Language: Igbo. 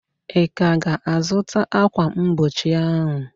Ị ka ga-azụta ákwà mgbochi ahụ?